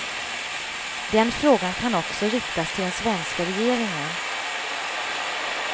Den frågan kan också riktas till den svenska regeringen.